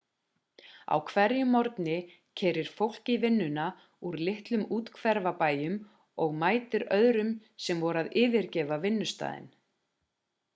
á hverjum morgni keyrir fólk í vinnuna úr litlum úthverfabæjum og mætir öðrum sem voru að yfirgefa vinnustaðinn